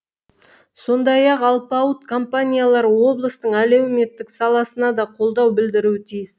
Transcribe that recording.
сондай ақ алпауыт компаниялар облыстың әлеуметтік саласына да қолдау білдіруі тиіс